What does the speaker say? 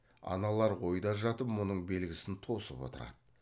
аналар ойда жатып мұның белгісін тосып отырады